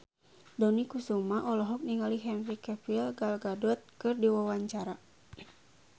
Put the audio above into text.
Dony Kesuma olohok ningali Henry Cavill Gal Gadot keur diwawancara